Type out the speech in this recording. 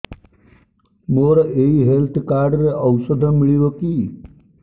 ମୋର ଏଇ health card ରେ ଔଷଧ ମିଳିବ କି